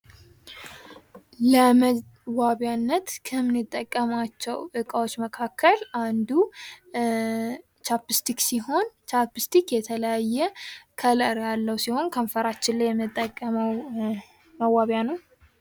ለመዋቢያነት ከምንጠቀማቸው ዕቃዎች መካከል አንዱ ቻፕስቲክ ሲሆን፤ ቻፕስቲክ የተለያየ ከለር ያለው ሲሆን ከንፈራችን እየምንጠቀመው መዋቢያ ነው።